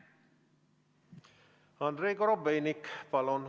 Andrei Korobeinik, palun!